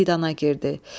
Meydana girdi.